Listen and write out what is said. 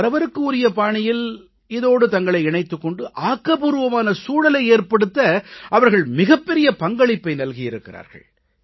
அவரவருக்கு உரிய பாணியில் இதோடு தங்களை இணைத்துக் கொண்டு ஆக்கப்பூர்வமான சூழலை ஏற்படுத்த அவர்கள் மிகப்பெரிய பங்களிப்பை நல்கியிருக்கிறார்கள்